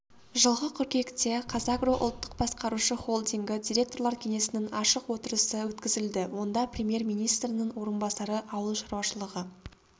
жылғы қыркүйекте қазагро ұлттық басқарушы холдингі директорлар кеңесінің ашық отырысы өткізілді онда премьер-министрінің орынбасары ауыл шаруашылығы